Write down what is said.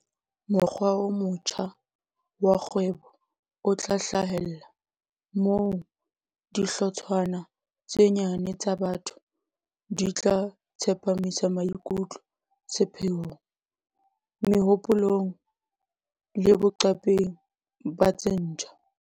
Mokgwa o motjha wa kgwebo o tla hlahella moo dihlotshwana tse nyane tsa batho di tla tsepamisa maiktlo sepheong, mehopolong le boqaping ba tse ntjha.